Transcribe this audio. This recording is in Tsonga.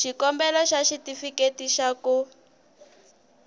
xikombelo xa xitifiketi xa ku